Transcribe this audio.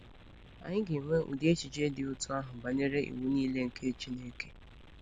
Anyị ga-enwe ụdị echiche dị otú ahụ banyere iwu niile nke Chineke.